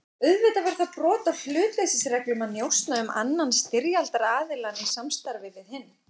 Auðvitað var það brot á hlutleysisreglum að njósna um annan styrjaldaraðiljann í samstarfi við hinn.